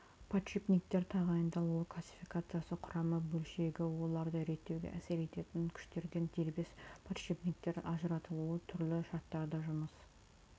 подшипниктер тағайындалуы классификациясы құрамды бөлшегі оларды реттеуге әсер ететін күштерден дербес подшипниктер ажыратылуы түрлі шарттарда жұмыс